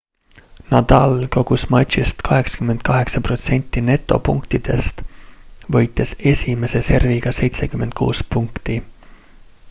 nadal kogus matšis 88% netopunktidest võites esimese serviga 76 punkti